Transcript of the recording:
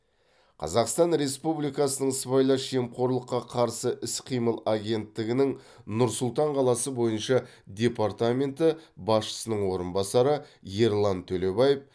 қазақстан республикасының сыбайлас жемқорлыққа қарсы іс қимыл агенттігінің нұр сұлтан қаласы бойынша департаменті басшысының орынбасары ерлан төлебаев